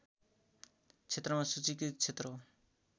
क्षेत्रमा सूचीकृत क्षेत्र हो